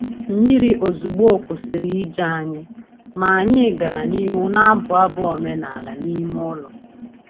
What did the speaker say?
Mmiri ozugbo kwụsịrị ije anyị, ma anyị gara n’ihu na-abụ abụ omenala n’ime ụlọ.